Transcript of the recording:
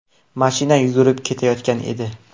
Mashina yurib ketayotgan edi.